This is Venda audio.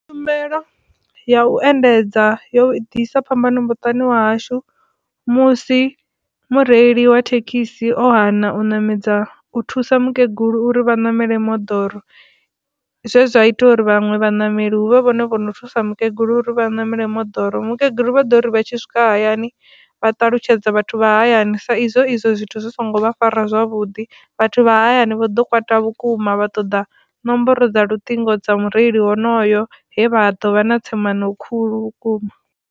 Tshumelo ya u endedza yo ḓisa phambano muṱani wa hashu musi mureili wa thekhisi o hana u ṋamedza u thusa mukegulu uri vha ṋamele moḓoro zwezwa ita uri vhaṅwe vhaṋameli huvhe vhone vhono thusa mukegulu uri vha ṋamele moḓoro, mukegulu vha ḓo uri vha tshi swika hayani vha ṱalutshedza vhathu vha hayani sa izwo zwithu zwi songo vha fara zwavhuḓi vhathu vha hayani vha ḓo kwata vhukuma vha ṱoḓa nomboro dza luṱingo dza mureili honoyo he vha ḓo vha na tsemano khulu vhukuma.